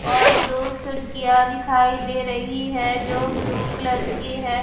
और दो खिड़कियां दिखाई दे रही है जो ब्लू कलर की हैं।